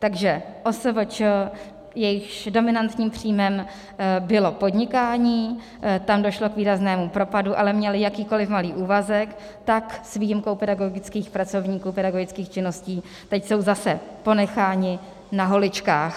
Takže OSVČ, jejichž dominantním příjmem bylo podnikání, tam došlo k výraznému propadu, ale měli jakýkoliv malý úvazek, tak s výjimkou pedagogických pracovníků, pedagogických činností teď jsou zase ponecháni na holičkách.